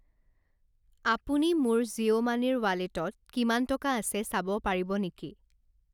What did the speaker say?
আপুনি মোৰ জিঅ' মানিৰ ৱালেটত কিমান টকা আছে চাব পাৰিব নেকি?